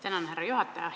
Tänan, härra juhataja!